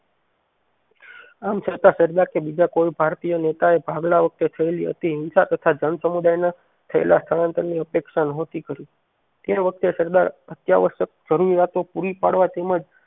આમ છતાં સરદાર કે બીજા કોઈ ભારતીય નેતાએ ભાગલા વખતે હતી હિંસા તથા જનસમુદાય ના થયેલા સ્થળાંતર ની અપેક્ષા નોહોતી કરી તે વખતે સરદાર અતિઆવશ્યક જરૂરિયાતો પુરી પાડવા તેમજ